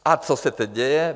A co se teď děje?